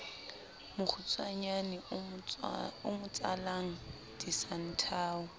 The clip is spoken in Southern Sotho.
mokgutshwanyane o mo tsalang disanthao